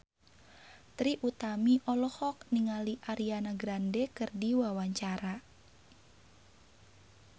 Trie Utami olohok ningali Ariana Grande keur diwawancara